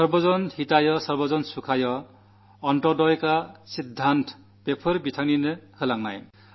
സർവ്വജനഹിതായസർവ്വജനസുഖായ അന്ത്യോദയ സിദ്ധാന്തം അദ്ദേഹത്തിന്റെ സംഭാവനയാണ്